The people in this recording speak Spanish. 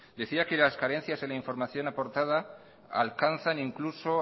decía que las carencias en la información aportada alcanza incluso